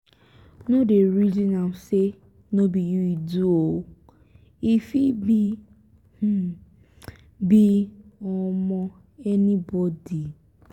no dey resin am sey no be you e do um e fit be fit be um anybodi.